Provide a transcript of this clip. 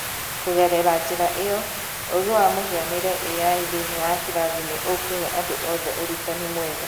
Kũgerera njĩra ĩyo, ũũgĩ wa mũhianĩre(AI) thĩinĩ wa kĩrathi nĩ ũkũhe andũ othe ũrutani mwega